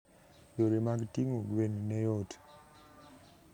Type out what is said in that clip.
Yore mag ting'o gwen ne yot.